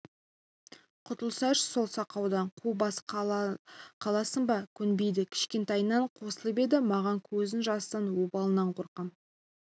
құтылсайшы сол сақаудан қу бас қаласың ба көнбейді кішкентайынан қосылып еді маған көзінің жасынан обалынан қорқам